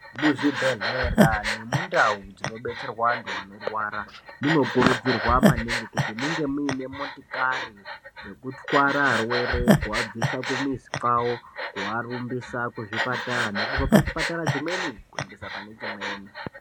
Muzvibhehlera nemundau dzinobetserwa antu anorwara munokurudzirwa maningi kuti munge muine motikari dzekutwara arwere. Kuabvisa kumizi kwavo kuarumbisa kuzvipatara nekubva pachipatara chimweni kuendesa pane chimweni.